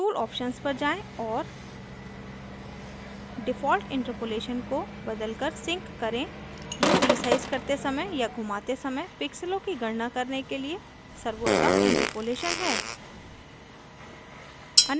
tool options पर जाएँ और default interpolation को बदलकर sinc करें यह रिसाइज करते समय या घुमाते समय pixels की गणना करने के लिए सर्वोत्तम interpolation है